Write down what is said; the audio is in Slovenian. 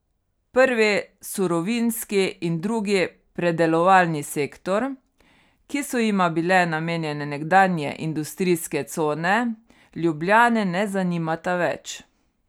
Prvi, surovinski, in drugi, predelovalni sektor, ki so jima bile namenjene nekdanje industrijske cone, Ljubljane ne zanimata več.